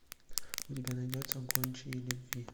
у тебя найдется гончие любви